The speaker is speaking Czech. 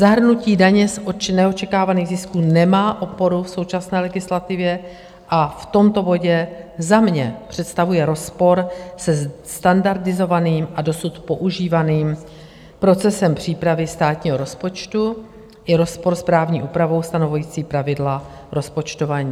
Zahrnutí daně z neočekávaných zisků nemá oporu v současné legislativě a v tomto bodě za mě představuje rozpor se standardizovaným a dosud používaným procesem přípravy státního rozpočtu i rozpor s právní úpravou stanovující pravidla rozpočtování.